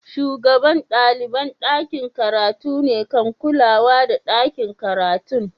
Shugaban dalibain dakin karatu ne kan kulawa da dakin karatun.